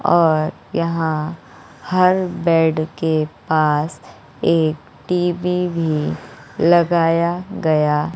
और यहां हर बेड के पास एक टी_बी भी लगाया गया --